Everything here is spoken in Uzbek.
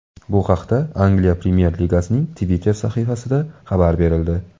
Bu haqda Angliya premyer ligasining Twitter sahifasida xabar berildi .